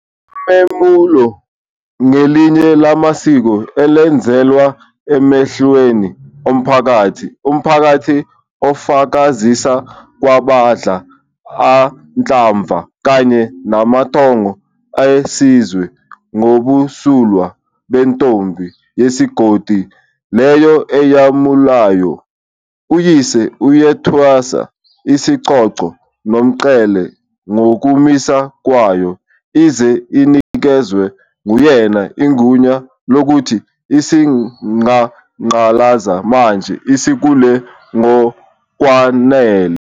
Umemulo ngelinye lamasiko elenzelwa emehlweni omphakathi, umphakathi ufakazisa kwabadla anhlamvana kanye namathongo esizwe ngobumsulwa bentombi yesigodi leyo eyemulayo. Uyise uyethwesa isicoco nomqhele ngokumisa kwayo ize inikezwe nguyena igunya lokuthi isingaqalaza manje, isikhule ngokwanele.